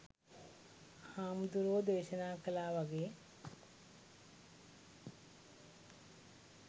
හාමුදුරුවො දේශනා කලා වගේ